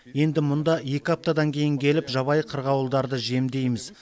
енді мұнда екі аптадан кейін келіп жабайы қырғауылдарды жемдейміз